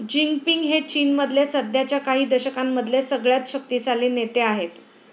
Jinping हे चीनमधले सध्याच्या काही दशकांमधले सगळ्यात शक्तीशाली नेते आहेत.